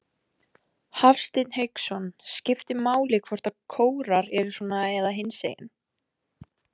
Hafsteinn Hauksson: Skiptir máli hvort kórar eru svona eða hinsegin?